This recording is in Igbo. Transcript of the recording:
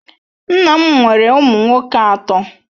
Nna m nwere ụmụ nwoke atọ.